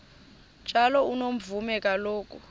njalo unomvume kuloko